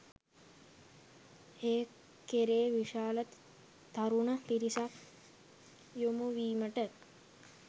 ඒ කෙරේ විශාල තරුණ පිරිසක් යොමුවීමට